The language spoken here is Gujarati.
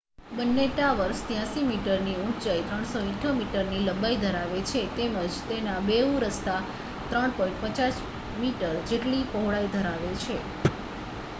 બંને ટાવર્સ 83 મીટરની ઊંચાઈ 378 મીટરની લંબાઈ ધરાવે છે તેમજ તેના બેઉ રસ્તા 3.50 મીટર જેટલી પહોળાઈ ધરાવે છે